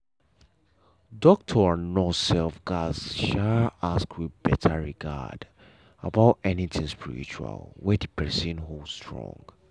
doctor and nurse um gatz um ask with better regard about anything spiritual wey the person hold strong.